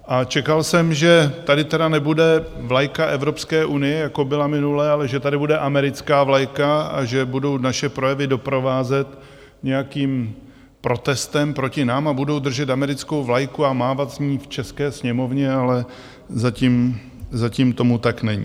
A čekal jsem že tady tedy nebude vlajka Evropské unie, jako byla minule, ale že tady bude americká vlajka a že budou naše projevy doprovázet nějakým protestem proti nám a budou držet americkou vlajku a mávat s ní v české sněmovně, ale zatím tomu tak není.